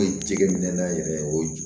jɛgɛ minɛ na yɛrɛ o ju